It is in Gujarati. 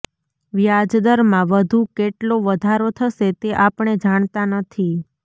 વ્યાજદરમાં વધુ કેટલો વધારો થશે તે આપણે જાણતા નથી